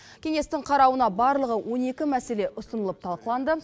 кеңестің қарауына барлығы он екі мәселе ұсынылып талқыланды